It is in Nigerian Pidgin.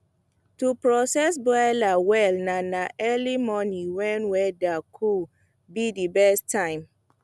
to process broiler well na na early morning when weather cool be the best time